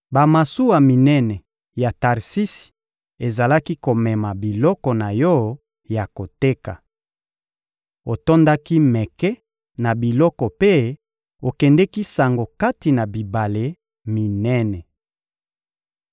Bamasuwa minene ya Tarsisi ezalaki komema biloko na yo ya koteka. Otondaki meke na biloko mpe okendeki sango kati na bibale minene.